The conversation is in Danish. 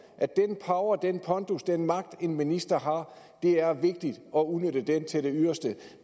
at den power den pondus den magt en minister har er det vigtigt at udnytte til det yderste